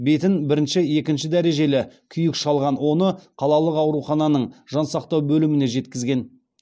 бетін бірінші екінші дәрежелі күйік шалған оны қалалық аурухананың жансақтау бөліміне жеткізген